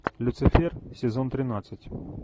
люцифер сезон тринадцать